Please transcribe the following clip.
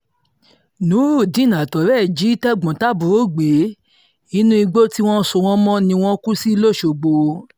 Nuruideen àtọ̀rẹ́ ẹ̀ jí tẹ̀gbọ́n-tàbúrò gbé inú igbó tí wọ́n so wọ́n mọ́ ni wọ́n kú sí lọ́sgbọ́